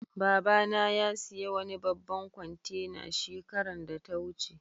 Baba na ya siya wani babban kwantena shekaran da ta wuce.